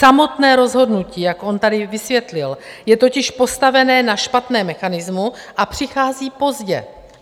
Samotné rozhodnutí, jak on tady vysvětlil, je totiž postavené na špatném mechanismu a přichází pozdě.